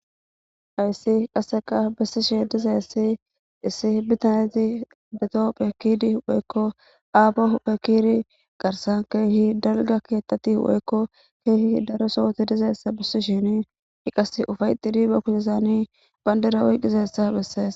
Hayssi qassekka besishe dizayiti issi bitane dizaytti kaka huphe keyidi woykko aapo huuphe kiyidi garsan keehi dalgga keeththati woykko keehi daro sohoti dizayssa besisheni i qasse ufayxxidi ba keyyossani bandira oykizayssa besees.